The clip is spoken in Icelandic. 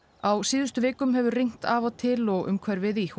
á síðustu vikum hefur rignt af og til og umhverfið í